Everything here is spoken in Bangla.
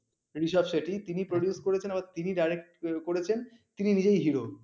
Reserve Set টি তিনি produce করেছেন আবার তিনি direct করেছেন তিনি নিজেই Hero